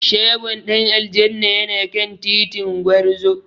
Shagon Dan aljanna yana kan titin Gwarzo.